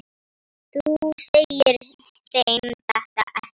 Þú segir þeim þetta ekki.